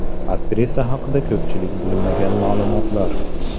Aktrisa haqida ko‘pchilik bilmagan ma’lumotlar .